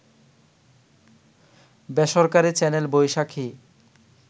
বেসরকারি চ্যানেল বৈশাখী